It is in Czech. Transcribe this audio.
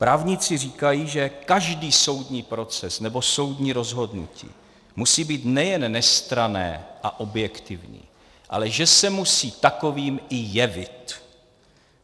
Právníci říkají, že každý soudní proces nebo soudní rozhodnutí musí být nejen nestranné a objektivní, ale že se musí takovým i jevit.